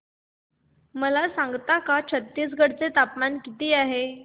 मला सांगता का छत्तीसगढ चे तापमान किती आहे